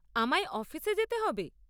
আমায় অফিসে যেতে হবে?